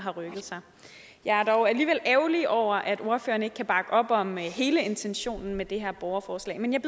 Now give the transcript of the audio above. har rykket sig jeg er dog alligevel ærgerlig over at ordføreren ikke kan bakke op om hele intentionen med det her borgerforslag men jeg